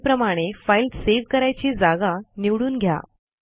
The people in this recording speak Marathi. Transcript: पूर्वीप्रमाणे फाईल सेव्ह करायची जागा निवडून घ्या